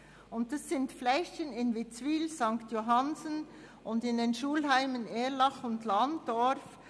Es handelt sich um die Flächen von Witzwil, St. Johannsen sowie der Schulheime Erlach und Landorf.